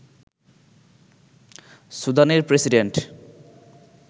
সুদানের প্রেসিডেন্ট